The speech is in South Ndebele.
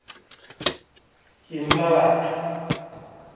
yemmabatho